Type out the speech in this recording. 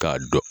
K'a dɔn